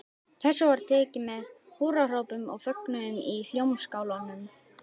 Þessu var tekið með húrrahrópum og fögnuði í Hljómskálanum.